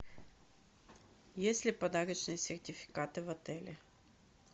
есть ли подарочные сертификаты в отеле